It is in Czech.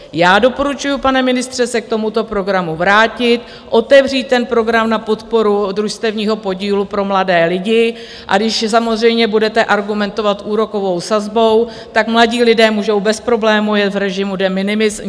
Já doporučuji, pane ministře, se k tomuto programu vrátit, otevřít ten program na podporu družstevního podílu pro mladé lidi, a když samozřejmě budete argumentovat úrokovou sazbou, tak mladí lidé můžou bez problémů jet v režimu de minimis.